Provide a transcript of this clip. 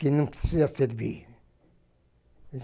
Que não precisa servir.